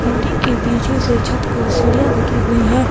Building के पीछे से छत को सीढ़ियां लगी हुई है।